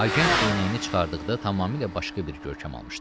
Agent eynəyini çıxartdıqda tamamilə başqa bir görkəm almışdı.